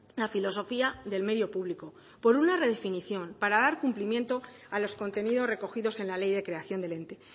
la filosofía del medio público por una redefinición para dar cumplimiento a los contenidos recogidos en la ley de creación del ente